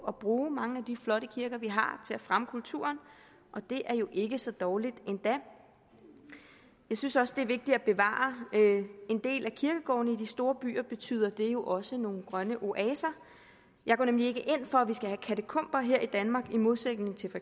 at bruge mange af de flotte kirker vi har til at fremme kulturen og det er jo ikke så dårligt endda jeg synes også det er vigtigt at bevare en del af kirkegårdene i de store byer betyder det jo også nogle grønne oaser jeg går nemlig ikke ind for at vi skal have katakomber her i danmark i modsætning til for